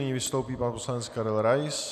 Nyní vystoupí pan poslanec Karel Rais.